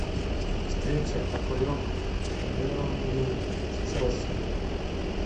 встреча апл бернли с челси